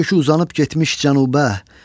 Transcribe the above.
bir kökü uzanıb getmiş cənuba.